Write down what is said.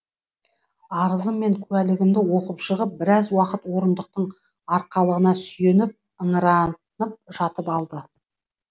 арызым мен куәлігімді оқып шығып біраз уақыт орындықтың арқалығына сүйеніп ыңыранып жатып алды